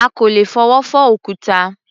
À kò lè fọwọ́ fọ́ òkúta.